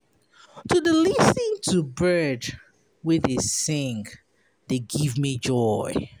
To dey lis ten to bird wey dey sing dey give me joy.